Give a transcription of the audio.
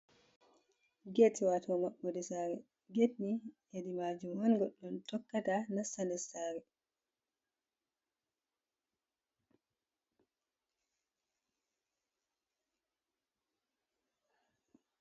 Get wato maɓɓode sare, get ni hedi majum on goɗɗo tokkata nasta nder sare.